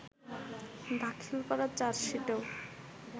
দাখিল করা চার্জশিটেও